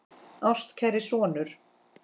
Ástkæri sonur